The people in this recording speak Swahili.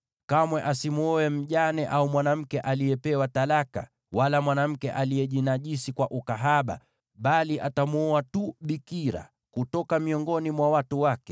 Kamwe asimwoe mjane, au mwanamke aliyepewa talaka, wala mwanamke aliyejinajisi kwa ukahaba, bali atamwoa tu bikira kutoka miongoni mwa watu wake,